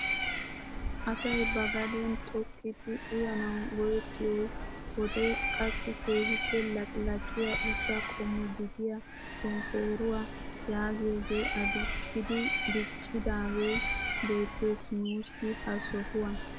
Asay ba gaden tokkidi uyanawu go"ettiyoouyiyoo wode qassi keehippe laqilaqiyaa ushshaa qommo gidiyaa shonkoruwaa yaagiyoogee aduqqidi diccidaagee beettees nuusi ha sohuwaan.